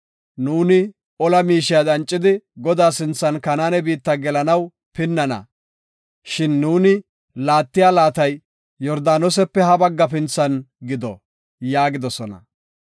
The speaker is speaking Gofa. Nuuni ola miishiya dancidi, Godaa sinthan Kanaane biitta gelanaw pinnana; shin nuuni laattiya laatay Yordaanosepe hafintha bagga gido” yaagidosona.